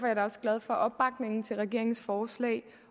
jeg da også glad for opbakningen til regeringens forslag